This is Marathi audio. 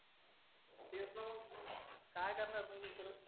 काय करणार मग गुतून